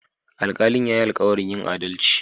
Alkalin ya yi alkawarin yin adalci.